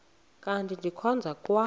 kanti ndikhonza kwa